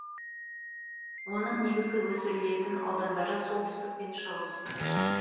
оның негізгі өсірілетін аудандары солтүстік пен шығыс